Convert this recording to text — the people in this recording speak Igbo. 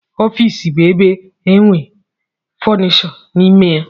Ọfịs bụ na-enwe fọnishọ n'ime ya.